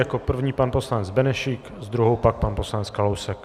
Jako první pan poslanec Benešík, s druhou pak pan poslanec Kalousek.